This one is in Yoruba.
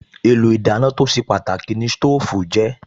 Èlò ìdáná tó ṣe pàtàkì ni sítóòfù jẹ́